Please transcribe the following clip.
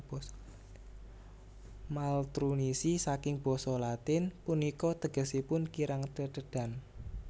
Maltrunisi saking basa Latin punika tegesipun kirang tetedhan